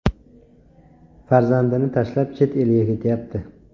Farzandini tashlab chet elga ketyapti.